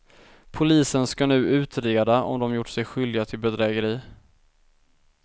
Polisen ska nu utreda om de gjort sig skyldiga till bedrägeri.